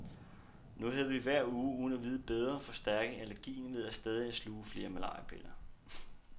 Nu havde vi hver uge uden at vide bedre forstærket allergien ved stadig at sluge flere malariapiller.